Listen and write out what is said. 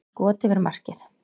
Skot yfir markið.